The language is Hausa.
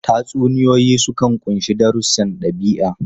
Tatsuniyoyi sukan ƙunshi darussan ɗabi'a.